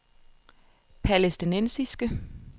palæstinensiske